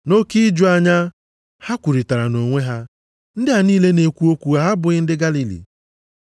Nʼoke iju anya, ha kwurịtara nʼonwe ha, “Ndị a niile na-ekwu okwu ha abụghị ndị Galili?